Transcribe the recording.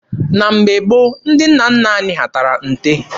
Na mgbe gboo, ndị nna nna anyị ha tara nte.